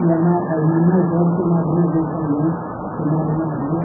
E a ma, a irmã mais velha foi madrinha dele também, chamada Maria.